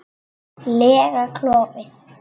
lega klofi.